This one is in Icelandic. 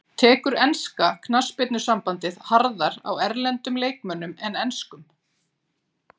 Tekur enska knattspyrnusambandið harðar á erlendum leikmönnum en enskum?